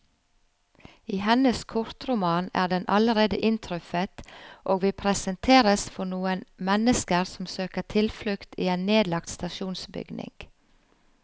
I hennes kortroman er den allerede inntruffet, og vi presenteres for noen mennesker som søker tilflukt i en nedlagt stasjonsbygning.